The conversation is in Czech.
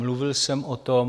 Mluvil jsem o tom.